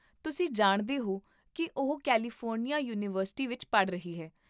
ਤੁਸੀਂ ਜਾਣਦੇ ਹੋ ਕਿ ਉਹ ਕੈਲੀਫੋਰਨੀਆ ਯੂਨੀਵਰਸਿਟੀ ਵਿੱਚ ਪੜ੍ਹ ਰਹੀ ਹੈ